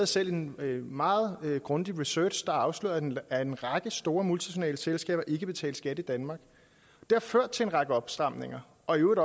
selv en meget grundig research der afslørede at en række store multinationale selskaber ikke betalte skat i danmark det har ført til en række opstramninger og i øvrigt